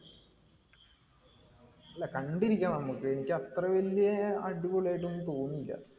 അല്ല, കണ്ടിരിക്കാം നമ്മക്ക്. എനിക്ക് അത്ര വല്യ അടിപൊളിയായിട്ട് ഒന്നും തോന്നിയില്ല.